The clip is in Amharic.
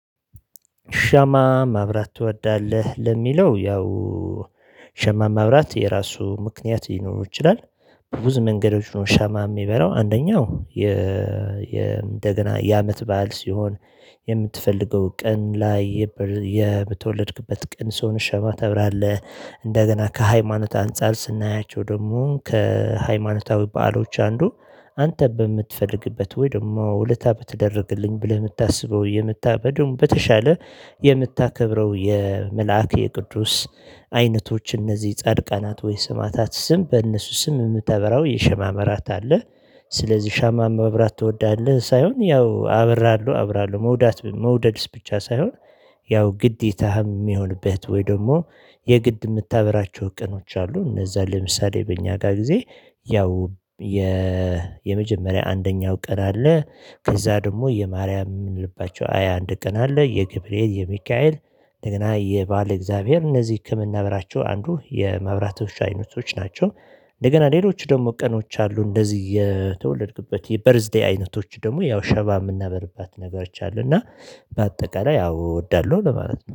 ሸማ ማብራት ትወዳለህ ለሚለው ያው ሸማ ማብራት የራሱ ምክንያት ሊኖሮው ይችላል። በብዙ መንገዶች ነው ሻማ የሚበራው አንደኛው። የ እንደገና የአመት በዓል ሲሆን የምትፈልገው ቀን ላይ የተወልድበት ቀን ሲሆን ሻማ ተብራለህ። እንደገና ከሃይማኖት አንፃር ስናያቸው ደግሞ ከሃይማኖታዊ በዓሎች አንዱ። አንተ በምትፈልግበት ወይ ደግሞ ውለታ በተደረገልኝ ብለህ የምታስበው የምታ በደንብ በተሻለ የምታከብረው የመልአክ የቅዱስ አይነቶች እነዚህ ጻድቃናት ወይስ ስማታት ስም በእነሱ ስም የምታበራው የሸማ መራት አለ። ስለዚህ ሻማ ማብራት ትወዳለህ ሳይሆን ያው አበራለው አብራለው መውደድስ ብቻ ሳይሆን። ያው ግዴታህም የሚሆንበት ወይ ደግሞ የግድ የምታበራቸው ቀኖች አሉ። እነዛ ለምሳሌ በእኛ ጋር ጊዜ ያው የመጀመሪያ አንደኛው ቀን አለ። ከዛ ደግሞ የማርያም ልባቸው ሃያአንድ ቀን አለ የገብርኤል የሚካኤል እንደገና የባል እግዚአብሔር እነዚህ ከምናበራቸው አንዱ የማብራቶች አይነቶች ናቸው። እንደገና ሌሎች ደግሞ ቀኖች አሉ እንደዚህ የተወለድኩበት የበርዝዴይ አይነቶች ደግሞ ያው ሸማ የምናበርባት ነገሮች አሉ። እና በአጠቃላይ ያው እወዳለሁ ለማለት ነው